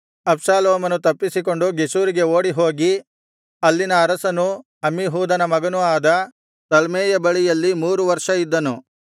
ಅಬ್ಷಾಲೋಮನು ತಪ್ಪಿಸಿಕೊಂಡು ಗೆಷೂರಿಗೆ ಓಡಿಹೋಗಿ ಅಲ್ಲಿನ ಅರಸನೂ ಅಮ್ಮೀಹೂದನ ಮಗನೂ ಆದ ತಲ್ಮೈಯ ಬಳಿಯಲ್ಲಿ ಮೂರು ವರ್ಷ ಇದ್ದನು